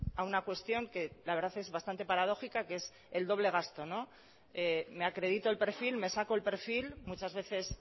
a una cuestión que la verdad es bastante paradójica que es el doble gasto me acredito el perfil me saco el perfil muchas veces